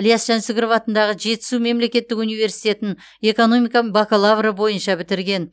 іляс жансүгіров атындағы жетісу мемлекеттік университетін экономика бакалавры бойынша бітірген